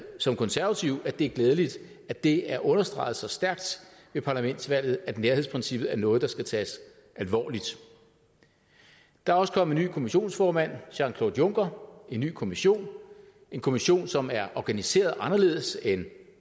som konservativ at det er glædeligt at det er understreget så stærkt ved parlamentsvalget at nærhedsprincippet er noget der skal tages alvorligt der er også kommet en ny kommissionsformand jean claude juncker og en ny kommission kommission som er organiseret anderledes end